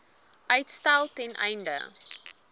uitstel ten einde